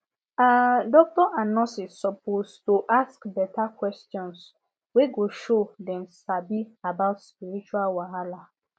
ah doctors and nurses suppose to ask beta questions wey go show dem sabi about spiritual wahala